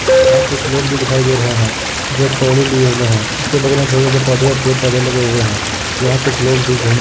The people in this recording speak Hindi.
यहाँ कुछ लोग भी दिखाई दे रहे है। जो लिए हुए है। इसके बगल मे छोटे-छोटे पौधे पेड़ पौधे लगे हुए हैं। यहाँ कुछ लोग भी घूम --